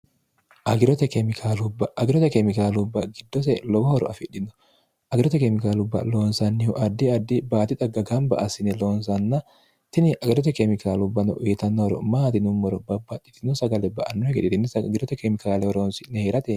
agirote keemikaalubba giddose lowohoro afidhino agirote keemikaalubba loonsannihu addi addi baati dagga gamba assine loonsanna tini agirote keemikaalubbanno iitannohoro maati nummoro baabbaaccitino sagale ba annuhigediinni agirote keemikaalehoroonsinni hii'rate